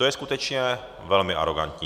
To je skutečně velmi arogantní.